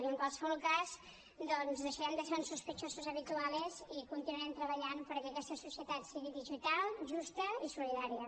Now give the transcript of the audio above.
i en qualsevol cas doncs deixarem de ser uns sospechosos habituales i continuarem treballant perquè aquesta societat sigui digital justa i solidària